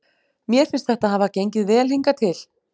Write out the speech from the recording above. Mér finnst þetta hafa gengið vel hingað til.